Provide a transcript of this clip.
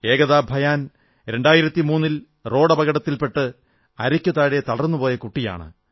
ഏകതാ ഭയാൻ 2003 ൽ റോഡപകടത്തിൽപെട്ട് അരയ്ക്കുതാഴെ തളർന്നുപോയ കുട്ടിയാണ്